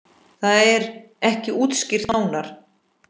Það er ekki útskýrt nánar.